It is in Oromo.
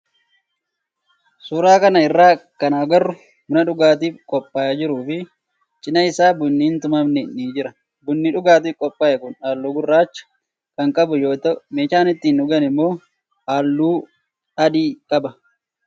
Suuraa kana irratti kan agarru buna dhugaatiif qophaa'ee jiruu fi cinaa isaa bunni hin tumamne ni jira. Bunni dhugaatiif qophaa'ee kun halluu gurraacha kan qabu yoo ta'u meeshaan ittiin dhugaan immoo halluu adii qaba.